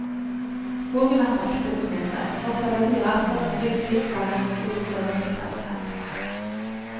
Skogen er sakte blitt mindre, men fortsatt har dyrearter som villsvin, flaggermus og villsauer sin plass her.